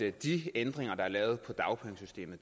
at de ændringer der er lavet i dagpengesystemet